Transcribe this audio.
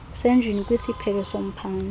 senjini kwisiphelo somphandle